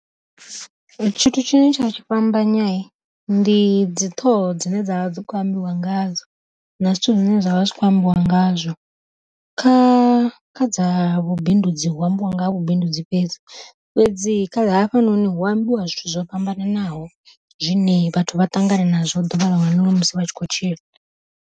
Tshithu tshine tsha tshi fhambanya ndi dzi ṱhoho dzine dzavha dzi kho ambiwa ngadzo, na zwithu zwine zwa vha zwi khou ambiwa ngazwo. Kha kha dza vhubindudzi hu ambiwa nga ha vhubindudzi fhedzi, fhedzi kha hafhanoni hu ambiwa zwithu zwo fhambananaho zwine vhathu vha ṱangana nazwo ḓuvha ḽiṅwe na ḽiṅwe musi vha tshi khou tshila.